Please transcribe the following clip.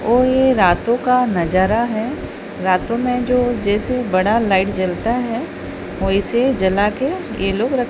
और ये रातों का नजारा है रातों में जो जैसे बड़ा लाइट जलता है वैसे जला के ये लोग रख--